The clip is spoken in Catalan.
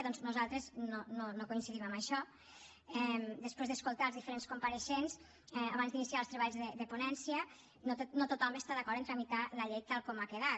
doncs nosaltres no coincidim en això després d’escoltar els diferents compareixents abans d’iniciar els treballs de ponència no tothom està d’acord en tramitar la llei tal com ha quedat